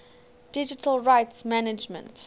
digital rights management